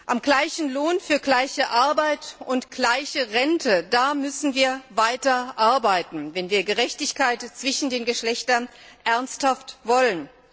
Am gleichen Lohn für gleiche Arbeit und gleiche Rente müssen wir weiter arbeiten, wenn wir Gerechtigkeit zwischen den Geschlechtern ernsthaft wollen.